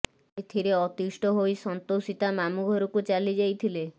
ଏଥିରେ ଅତିଷ୍ଠ ହୋଇ ସନ୍ତୋଷୀ ତା ମାମୁଁ ଘରକୁ ଚାଲିଯାଇଥିଲେ